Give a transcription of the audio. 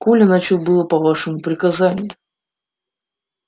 коля начал было по вашему приказанию